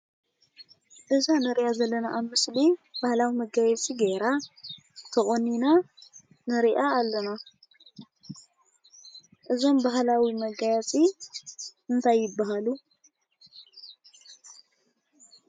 እዛ ንሪኣ ዘለና ኣብ ምስሊ ባህላዊ መጋየፂ ገይራ፣ ተቖኒና ንሪኣ ኣለና፡፡ እዞም ባህላዊ መጋየፂ እንታይ ይበሃሉ?